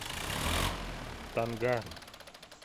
танга